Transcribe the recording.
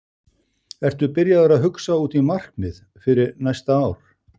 Ertu byrjaður að hugsa út í markmið fyrir næsta ár?